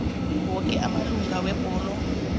woke amalunga webhodo